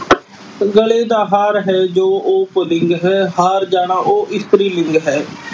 ਗਲੇ ਦਾ ਹਾਰ ਹੈ ਜੋ ਉਹ ਪੁਲਿੰਗ ਹੈ। ਹਾਰ ਜਾਣਾ ਉਹ ਇਸਤਰੀ ਲਿੰਗ ਹੈ।